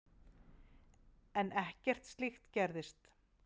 En ekkert slíkt gerðist.